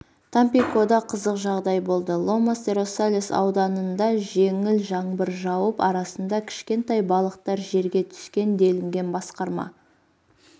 тампикода қызық жағдай болды ломас-де-росалес ауданында жеңіл жаңбыр жауып арасында кішкентай балықтар жерге түскен делінген басқарма